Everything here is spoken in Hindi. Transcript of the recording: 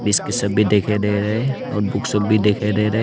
दिखाई दे रहे और बुक सब भी दिखाई दे रहे।